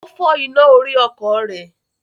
Ó fọ́ iná orí ọkọ̀ rẹ̀.